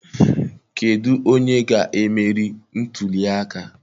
Kedụ onye ga-emeri ntuli aka?